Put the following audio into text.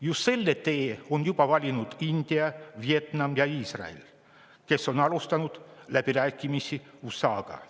Just selle tee on juba valinud India, Vietnam ja Iisrael, kes on alustanud läbirääkimisi USA-ga.